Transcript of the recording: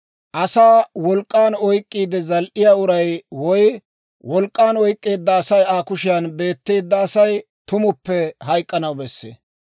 «Asaa wolk'k'an oyk'k'iide zal"iyaa uray woy wolk'k'aan oyk'k'eedda Asay Aa kushiyaan beetteedda Asay tumuppe hayk'k'anaw bessee.